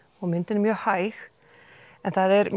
og myndin er mjög hæg en það er